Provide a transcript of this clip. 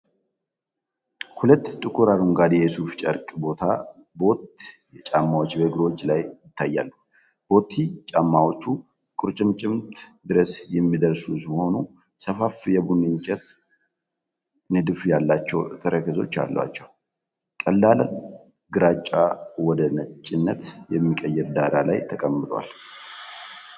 ሁለት ጥቁር አረንጓዴ የሱፍ ጨርቅ ቦት ጫማዎች በእግሮች ላይ ይታያሉ። ቦት ጫማዎቹ ቁርጭምጭሚት ድረስ የሚደርሱ ሲሆኑ፤ ሰፋፊ የቡኒ እንጨት ንድፍ ያላቸው ተረከዞች አሏቸው። ቀላል ግራጫ ወደ ነጭነት በሚቀየር ዳራ ላይ ተቀምጠዋል።